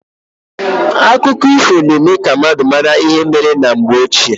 Akụkọ ifo na eme ka mmadụ mara ihe mee na mgbe ochie.